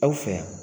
Aw fɛ yan